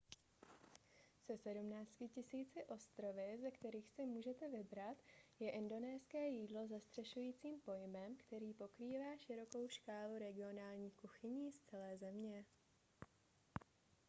se 17 000 ostrovy ze kterých si můžete vybrat je indonéské jídlo zastřešujícím pojmem který pokrývá širokou škálu regionálních kuchyní z celé země